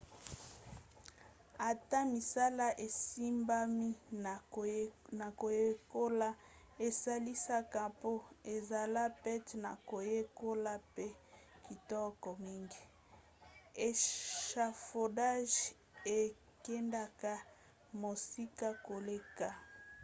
ata misala esimbami na koyekola esalisaka mpo ezala pete na koyekola mpe kitoko mingi échafaudage ekendaka mosika koleka